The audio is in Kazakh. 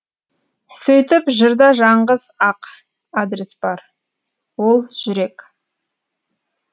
сөйтіп жырда жаңғыз ақ адрес бар ол жүрек